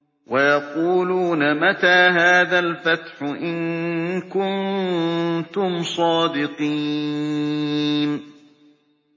وَيَقُولُونَ مَتَىٰ هَٰذَا الْفَتْحُ إِن كُنتُمْ صَادِقِينَ